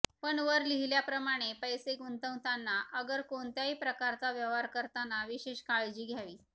पण वर लिहिल्याप्रमाणे पैसे गुंतवताना अगर कोणत्याही प्रकारचा व्यवहार करताना विशेष काळजी घ्यावी